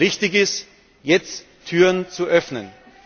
richtig ist, jetzt Türen zu öffnen.